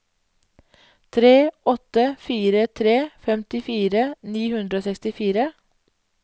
tre åtte fire tre femtifire ni hundre og sekstifire